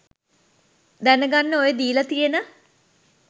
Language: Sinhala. දැනගන්න ඔය දීල තියෙන